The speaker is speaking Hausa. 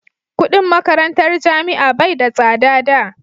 kudin makarantar jami'a bai da tsada da